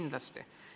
Kindlasti.